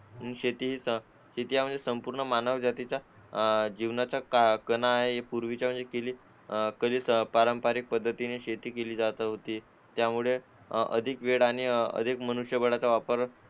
आणि शेती शेती म्हणजे संपूर्ण मानव जाती अह जीवनाचा आहे कलेचा म्हणजे पारंपारिक पद्धतीने शेती केली जाते त्यामुळे अधिक वेळ आणि अधिक मनुष्यबळाचा वापर